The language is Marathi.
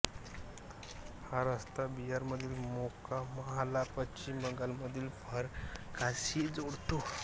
हा रस्ता बिहारमधील मोकामाहला पश्चिम बंगालमधील फरक्काशी जोडतो